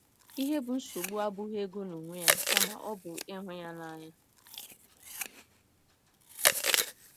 Ihe bụ́ nsogbu abụghị ego n’onwe ya, kama ọ bụ ịhụ ya n’anya.